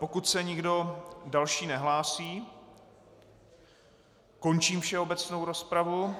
Pokud se nikdo další nehlásí, končím všeobecnou rozpravu.